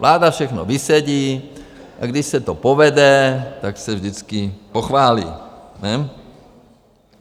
Vláda všechno vysedí, a když se to povede, tak se vždycky pochválí, ne?